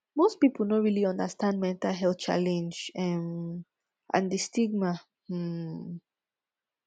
most pipu no really understand mental health challenge um and di stigma um